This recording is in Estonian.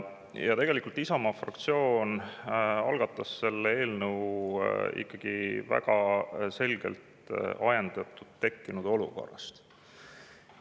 Isamaa fraktsioon algatas selle eelnõu ikkagi väga selgelt ajendatuna tekkinud olukorrast.